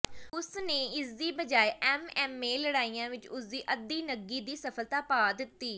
ਉਸਨੇ ਇਸਦੀ ਬਜਾਏ ਐਮਐਮਏ ਲੜਾਈਆਂ ਵਿੱਚ ਉਸਦੀ ਅਧੀਨਗੀ ਦੀ ਸਫਲਤਾ ਪਾ ਦਿੱਤੀ